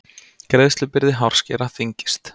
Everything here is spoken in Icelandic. Greiðslubyrði hárskera þyngist